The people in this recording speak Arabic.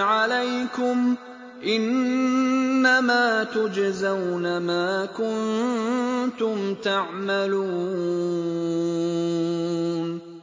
عَلَيْكُمْ ۖ إِنَّمَا تُجْزَوْنَ مَا كُنتُمْ تَعْمَلُونَ